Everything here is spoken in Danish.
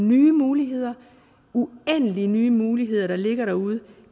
nye muligheder uendelige nye muligheder der ligger derude